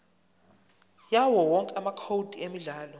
yawowonke amacode emidlalo